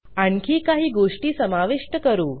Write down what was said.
आणखी काही गोष्टी समाविष्ट करू